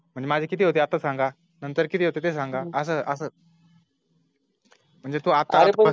मग माझे किती होते आता सांगा नंतर किती होते सांगा आस असं म्हणजे तू आत